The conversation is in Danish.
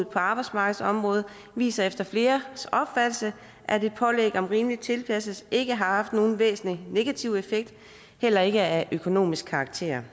på arbejdsmarkedsområdet viser efter fleres opfattelse at et pålæg om rimelig tilpasning ikke har haft nogen væsentlig negativ effekt heller ikke af økonomisk karakter